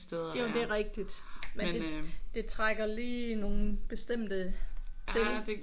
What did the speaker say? Jo det er rigtigt men det det trækker lige nogle bestemte ting ik